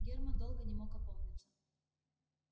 германн долго не мог опомниться